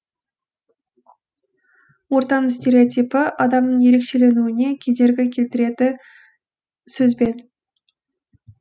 ортаның стереотипі адамның ерекшеленуіне кедергі келтіреді сөзбен